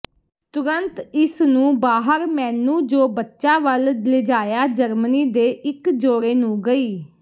ਤੁਰੰਤ ਇਸ ਨੂੰ ਬਾਹਰ ਮੈਨੂੰ ਜੋ ਬੱਚਾ ਵੱਲ ਲਿਜਾਇਆ ਜਰਮਨੀ ਦੇ ਇੱਕ ਜੋੜੇ ਨੂੰ ਗਈ